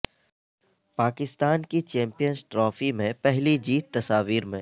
پاکستان کی champions trophy میں پہلی جیت تصاویر میں